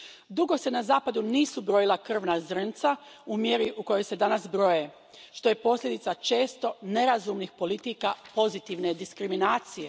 Dugo se na zapadu nisu brojila krvna zrnca u mjeri u kojoj se danas broje, što je posljedica često nerazumnih politika pozitivne diskriminacije.